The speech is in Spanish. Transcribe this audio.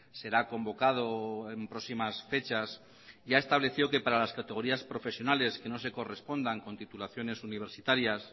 será convocado en próximas fechas ya estableció que para las categorías profesionales que no se correspondan con titulaciones universitarias